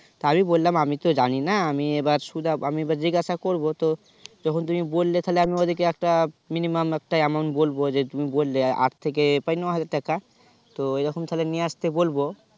তা আমি বললাম আমি তো জানি না আমি এবার সুধা আমি এবার জিজ্ঞাসা করবো তো যখন তুমি বললে তাইলে ওদেরকে একটা Minimum একটা amount বলবো যে তুমি বললে আট থেকে হাজার টাকা তো এই রকম তাইলে নিয়ে আসতে বলবো